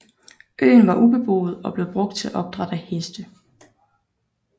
Øen var ubeboet og blev brugt til opdræt af heste